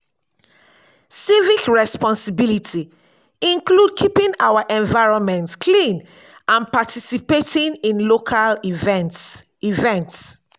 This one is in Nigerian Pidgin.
civic responsibility include keeping our environment clean and participating in local events. events.